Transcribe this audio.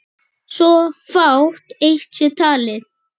svo fátt eitt sé talið.